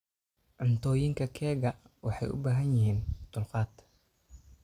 Cuntooyinka keega waxay u baahan yihiin dulqaad.